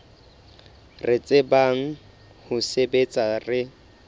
re tsebang ho sebetsa re